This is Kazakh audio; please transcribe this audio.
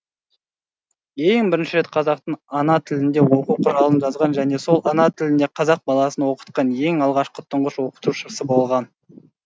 ең бірінші рет қазақтың ана тілінде оқу құралын жазған және сол ана тілінде қазақ баласын оқытқан ең алғашқы тұңғыш оқытушысы болған